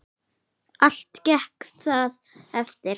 Allt gekk það eftir.